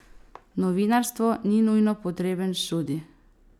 Novinarstvo ni nujno potreben študij.